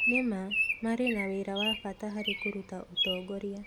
Nĩ ma. Marĩ na wĩra wa bata harĩ kũruta ũtongoria